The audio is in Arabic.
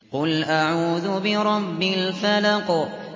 قُلْ أَعُوذُ بِرَبِّ الْفَلَقِ